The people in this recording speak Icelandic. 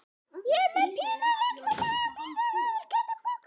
Ég er með pínulitla magapínu viðurkenndi Bogga.